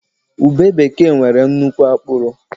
Ube bekee nwere nnukwu akpụrụ